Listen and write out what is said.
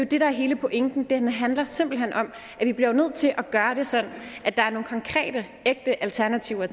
det der er hele pointen det handler simpelt hen om at vi bliver nødt til at gøre det sådan at der er nogle konkrete ægte alternativer